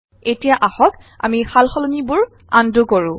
এতিয়া আহক আমি সালসলনিবোৰ আন্ডু কৰো